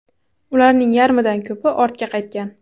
Ularning yarmidan ko‘pi ortga qaytmagan.